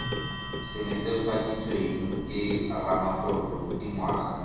se netefaditsweng ke ramatlotlo dingwaga